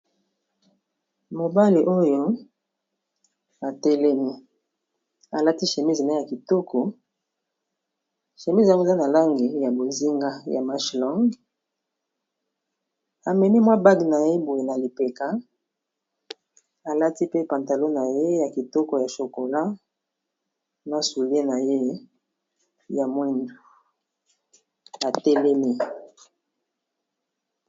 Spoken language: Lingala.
Mobali oyo atelemi alati chemise naye ya kitoko chemise eza na langi ya bozinga ya manche long amemi mwa bage na boye na lipeka alati pe pantalon na ye ya kitoko ya chokola na soulier na ye ya mwindu u atelemi.